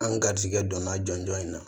An ga garijɛgɛ donna jɔnjɔn in na